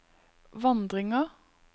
vandringer